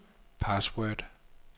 password